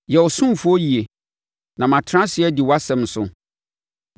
Yɛ wo ɔsomfoɔ yie; na matena ase adi wʼasɛm so.